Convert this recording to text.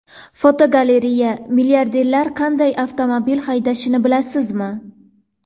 Fotogalereya: Milliarderlar qanday avtomobil haydashini bilasizmi?.